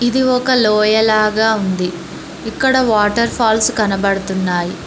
ఇది ఒక లోయలాగా ఉంది ఇక్కడ వాటర్ ఫాల్స్ కనబడుతున్నాయి.